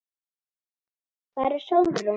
Hvar er Sólrún?